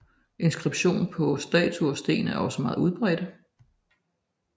Inskriptioner på statuer og sten er også meget udbredte